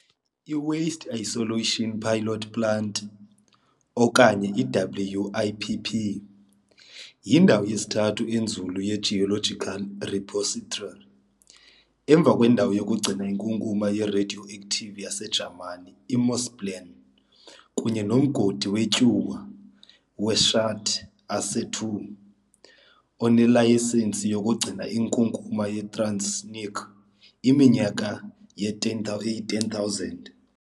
I-Waste Isolation Pilot Plant"," okanye i-WIPP, yindawo yesithathu enzulu ye-geological repository, emva kwendawo yokugcina inkunkuma ye-radioactive yaseJamani i-Morsleben kunye nomgodi wetyuwa we-Schacht Asse II, onelayisensi yokugcina inkunkuma ye-transuranic iminyaka eyi-10,000.